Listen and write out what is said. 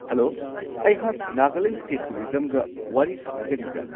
Hello! ꯑꯩꯍꯥꯛ Nagaland state ꯇꯨꯔꯤꯖꯝꯒ ꯋꯥꯔꯤ ꯁꯥꯅꯖꯔꯤꯕ꯭ꯔꯥ?